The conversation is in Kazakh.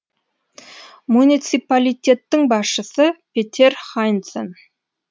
муниципалитеттің басшысы петер хайнцен